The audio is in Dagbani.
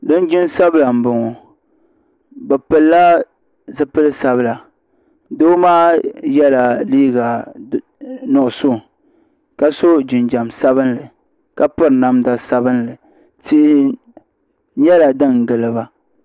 Linjin sabila n bɔŋo bi pili la zipili sabila doo maa yɛla liiga nuɣusu ka so jinjam sabinli ka piri namda sabinli tihi nyɛla din gili ba.